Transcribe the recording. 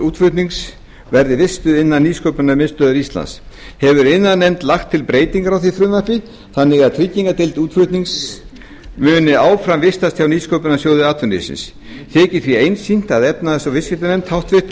útflutnings verði vistuð innan nýsköpunarmiðstöðvar íslands hefur iðnaðarnefnd lagt til breytingu á því frumvarpi þannig að tryggingardeild útflutnings muni áfram vistast hjá nýsköpunarsjóði atvinnulífsins þykir því einsýnt að efnahags og viðskiptanefnd háttvirtur